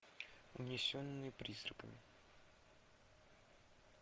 унесенные призраками